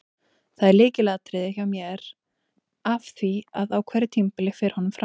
Það er lykilatriði hjá mér af því að á hverju tímabili fer honum fram.